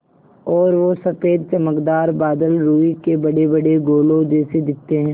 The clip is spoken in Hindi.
और वो सफ़ेद चमकदार बादल रूई के बड़ेबड़े गोलों जैसे दिखते हैं